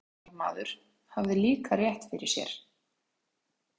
Magnús miðstjórnarmaður hafði líka rétt fyrir sér.